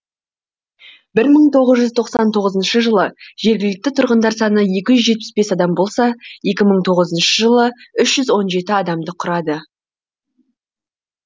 бір мың тоғыз жүз тоқсан тоғызыншы жылы жергілікті тұрғындар саны екі жүз жетпіс бес адам болса екі мың тоғызыншы жылы үш жүз он жеті адамды құрады